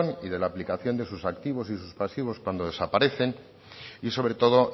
y de la aplicación de sus activos y sus pasivos cuando desaparecen y sobre todo